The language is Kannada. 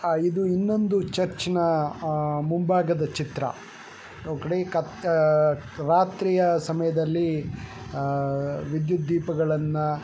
ಆ ಇದು ಇನ್ನೊಂದು ಚರ್ಚ್ ನಾ ಆ ಮುಂಭಾಗದ ಚಿತ್ರಾ. ಅವ್ಕಾದೆ ಕತ್ ಅಹ್ ರಾತ್ರಿಯ ಸಮಯದಲ್ಲಿ ಅಹ್ ವಿದ್ಯುತ್ ದೀಪಗಳನ್ನ --